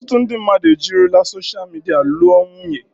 Ọtụtụ ndị mmadụ ejirila soshal midia lụọ nwunye.